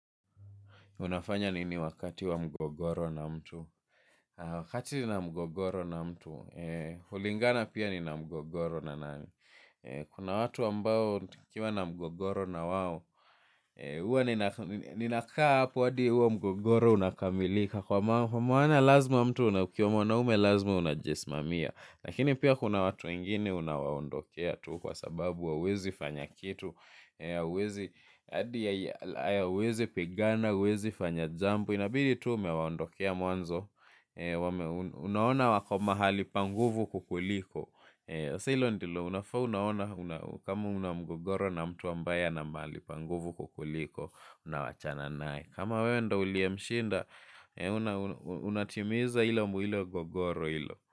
Unafanya nini wakati wa mgogoro na mtu. Wakati nina mgogoro na mtu. Hulingana pia nina mgogoro na nani. Kuna watu ambao tukiwa na mgogoro na wao. Huwa ninakaa hapo hadi huo mgogoro unakamilika. Kwa maana lazima mtu ukiwa, mwanaume lazima unajisimamia. Lakini pia kuna watu wengine unawaondokea tu kwa sababu hauwezi fanya kitu. Huwezi pigana, huwezi fanya jambo. Inabidi tuu umewaondokea mwanzo. Unaona wako mahali pa nguvu kukuliko. Sasa hilo ndilo, unafaa unaona. Kama una mgogoro na mtu ambaye ana mahali pa nguvu kukuliko. Unawachana naye. Kama wewe ndiye uliye mshinda unatimiza hilo mwilo mgogoro ilo.